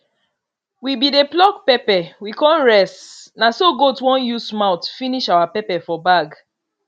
we be dey pluck pepper we con rest na so gaot won use mouth finish our pepper for bag